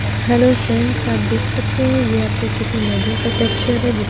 hello friends आप देख सकते है यहां पे किस मैगी का टेक्सचर है जिस--